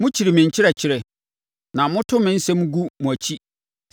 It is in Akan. Mokyiri me nkyerɛkyerɛ na moto me nsɛm gu mo akyi.